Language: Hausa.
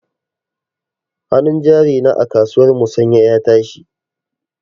Hanun jari na a kasuwar musanya ya tashi.